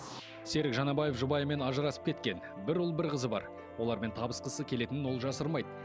серік жанабаев жұбайымен ажырасып кеткен бір ұл бір қызы бар олармен табысқысы келетінін ол жасырмайды